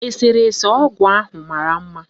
Eserese ọgụ ahụ mara mma.